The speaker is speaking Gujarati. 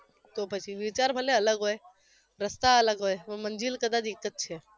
તો પછી વિચાર ભલે અલગ હોય રસ્તા અલગ હોય પણ મંજિલ કદાચ એક જ છે